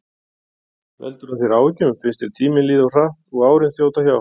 Veldur hún þér áhyggjum, finnst þér tíminn líða of hratt og árin þjóta hjá?